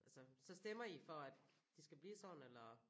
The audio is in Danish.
Altså så stemmer I for at de skal blive sådan eller